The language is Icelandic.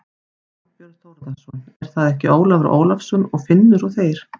Þorbjörn Þórðarson: Er það ekki Ólafur Ólafsson og Finnur og þeir?